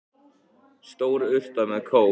Stór urta með kóp.